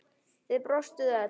Þið brostuð öll.